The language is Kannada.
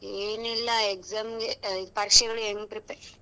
ಏನಿಲ್ಲ exam ಗೆ ಪರೀಕ್ಷೆಗಳಿಗೆ ಹೆಂಗ್ prepare .